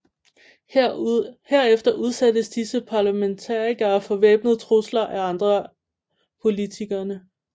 Herefter udsættes disse parlamentarikere for væbnede trusler af andre politikerne